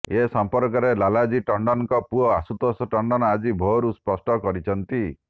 ଏ ସମ୍ପର୍କରେ ଲାଲଜି ଟଣ୍ଡନଙ୍କ ପୁଅ ଆଶୁତୋଷ ଟଣ୍ଡନ ଆଜି ଭୋରରୁ ସ୍ପଷ୍ଟ କରିଛନ୍ତି